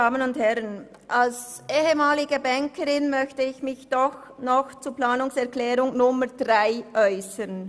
Als ehemalige Bankerin möchte ich mich doch noch zur Planungserklärung 3 äussern.